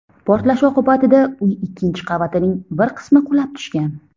Portlash oqibatida uy ikkinchi qavatining bir qismi qulab tushgan.